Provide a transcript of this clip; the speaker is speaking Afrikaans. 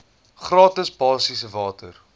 gratis basiese water